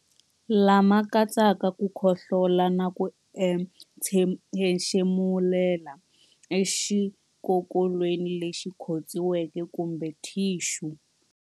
Kama katsaka ku khohlola na ku entshemulela exikokolweni lexi khotsiweke kumbe thixu.